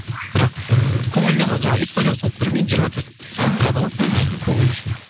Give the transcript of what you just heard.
бірақ ыыы көңіліне жаңағы историяға салып беремін енді жиырма төрт сағат тұрады ғой іхі көңілі үшін